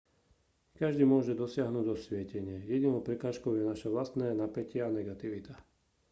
každý môže dosiahnuť osvietenie jedinou prekážkou je naše vlastné napätie a negativita